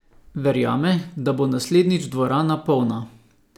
Verjame, da bo naslednjič dvorana polna.